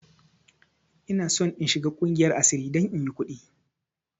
Ina son in shiga ƙungiyar asiri don inyi ƙudi!